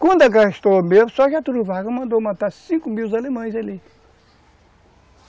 Quando a guerra estourou mesmo, só Getúlio Vargas mandou matar cinco mil alemães ali.